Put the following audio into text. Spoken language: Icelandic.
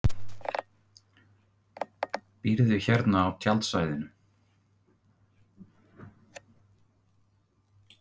Býrðu hérna á tjaldsvæðinu?